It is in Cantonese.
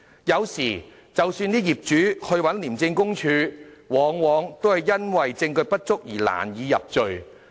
有時候，即使業主向廉政公署舉報，往往因為證據不足而難以入罪。